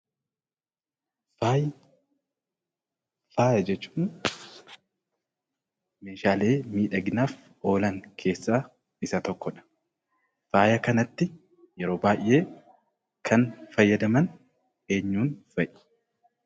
Faayni, Faaya jechuun meeshaalee miidhaginaaf oolan keessaa Isa tokkodha. Faaya kanatti yeroo baayee Kan fayyadaman eenyuun fa'i?